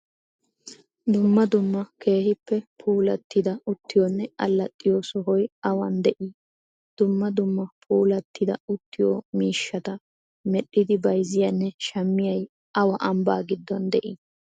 Dummaa dummaa keehippe puulatida uttiyonne allaaxiyo sohoy awaan de7i? Duummaa duummaa puulatida uttiyo miishshataa medhdhidi bayziyaane shaamiyay awa ambba giddon de7i?